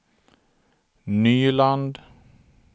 Nyland